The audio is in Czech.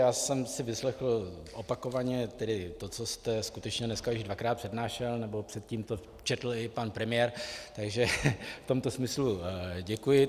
Já jsem si vyslechl opakovaně tedy to, co jste skutečně dneska již dvakrát přednášel, nebo předtím to četl i pan premiér, takže v tomto smyslu děkuji.